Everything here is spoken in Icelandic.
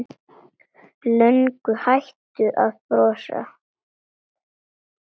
Löngu hættur að brosa.